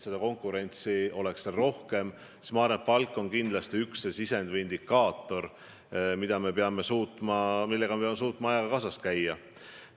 Konkurentsi peaks seal rohkem olema ja palk on üks sisend, mille maksmisel me peame suutma ajaga kaasas käia.